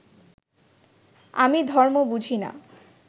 আমি ধর্ম বুঝি না